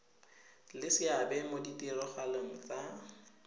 le seabe mo ditiragalong tsa